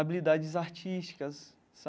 habilidades artísticas